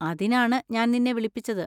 അതിനാണ് ഞാൻ നിന്നെ വിളിപ്പിച്ചത്.